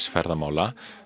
ferðamála